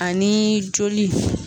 Ani joli.